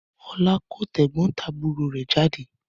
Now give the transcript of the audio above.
Ọlá kó tẹ̀gbọ́ntàbúrò rẹ̀ jáde.